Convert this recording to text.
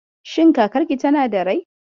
Shin kakarki tana da rai?